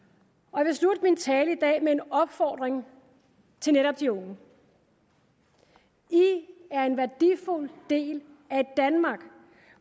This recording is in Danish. jeg vil slutte min tale i dag med en opfordring til netop de unge i er en værdifuld del af et danmark